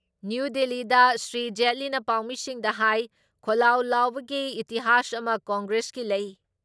new ꯗꯤꯜꯂꯤꯗ ꯁ꯭ꯔꯤ ꯖꯦꯠꯂꯤꯅ ꯄꯥꯎꯃꯤꯁꯤꯡꯗ ꯍꯥꯏ ꯈꯣꯜꯂꯥꯎ ꯂꯥꯎꯕꯒꯤ ꯏꯇꯤꯍꯥꯁ ꯑꯃ ꯀꯪꯒ꯭ꯔꯦꯁꯀꯤ ꯂꯩ